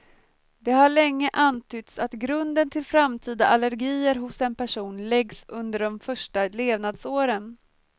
Det har länge antytts att grunden till framtida allergier hos en person läggs under de första levnadsåren.